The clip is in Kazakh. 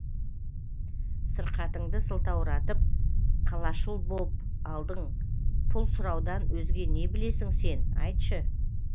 сырқатыңды сылтауратып қалашыл боп алдың пұл сұраудан өзге не білесің сен айтшы